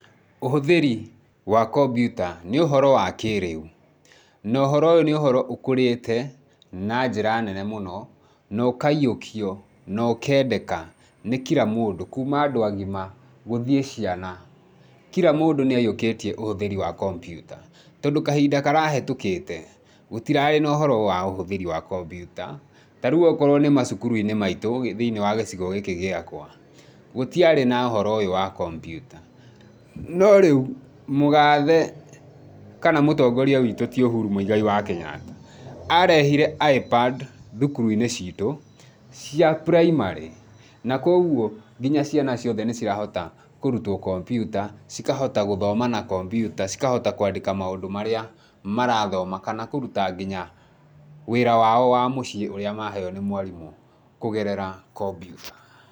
Ũhũthĩri wa kombiuta nĩ ũhoro wa kĩrĩu na ũhoro ũyũ nĩ ũkũrĩte na njĩra nene mũno na ũkaiyũkio na ũkeendeka nĩ kira mũndũ kuma andũ a gima gũthiĩ ciana. Kira mũndũ nĩ aiyũkĩtie ũhũthĩri wa kompiuta tondũ kahinda karahĩtũkĩte, gũtirarĩ na ũhoro wa ũhũthĩri wa kombyuta. Ta rĩu okorwo nĩ macukuru-inĩ maitũ thĩinĩ wa gĩcigo gĩakwa gũtiarĩ na ũhoro ũyũ wa kompiuta. No rĩu, mũgathe kana mũtongoria witũ ti Ũhuru Mũigai wa Kenyatta, arehire ipad thukuru-inĩ citũ cia primary na kwoguo nginya ciana ciothe nĩ cirahota kũrutwo kompyuta, cikahota gũthoma na kompyuta, cikahota kũandĩka maũndũ marĩa marathoma kana kũruta nginya wĩra wao wa mũciĩ ũria maheo nĩ mwarimũ kũgerera kombiuta.